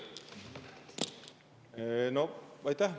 Aitäh!